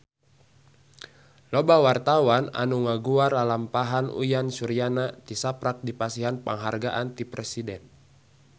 Loba wartawan anu ngaguar lalampahan Uyan Suryana tisaprak dipasihan panghargaan ti Presiden